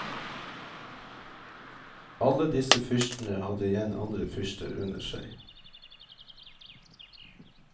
Alle disse fyrstene hadde igjen andre fyrster under seg.